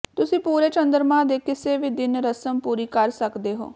ਤੁਸੀਂ ਪੂਰੇ ਚੰਦਰਮਾ ਦੇ ਕਿਸੇ ਵੀ ਦਿਨ ਰਸਮ ਪੂਰੀ ਕਰ ਸਕਦੇ ਹੋ